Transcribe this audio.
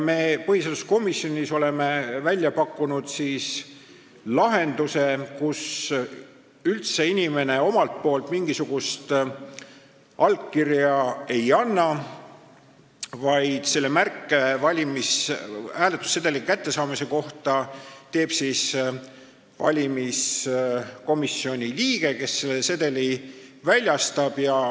Me oleme põhiseaduskomisjonis välja pakkunud lahenduse, et inimene üldse mingisugust allkirja ei anna, vaid märke hääletussedeli kättesaamise kohta teeb valimiskomisjoni liige, kes selle sedeli väljastab.